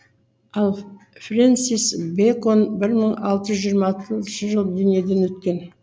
ал френсис бэкон бір мың алты жүз жиырма алтыншы жылы дүниеден өткен